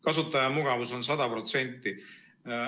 Kasutaja mugavus on 100%.